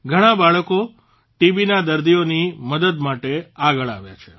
ઘણાં બાળકો હોય તો પણ તેઓ ટીબીના દર્દીઓની મદદ માટે આગળ આવ્યા છે